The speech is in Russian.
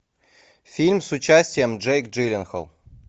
фильм с участием джейк джилленхол